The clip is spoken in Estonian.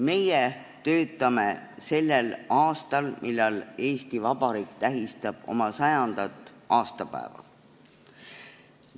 Meie töötame sellel aastal, kui Eesti Vabariik tähistab oma 100. aastapäeva.